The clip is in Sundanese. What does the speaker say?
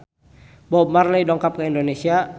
Bob Marley dongkap ka Indonesia